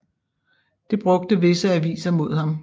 Det brugte visse aviser mod ham